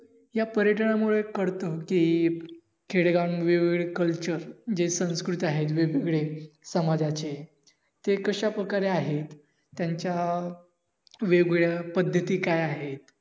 या पर्यटनामुळे कळत कि खेडेगामध्ये culture जे संस्कृत आहेत वेगवेगळे समाजाचे ते कशा प्रकारे आहेत. त्यांच्या वेगवेगळ्या पद्धती काय आहेत.